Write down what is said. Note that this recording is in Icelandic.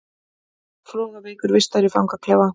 Flogaveikur vistaður í fangaklefa